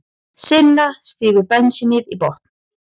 Silla stígur bensínið í botn.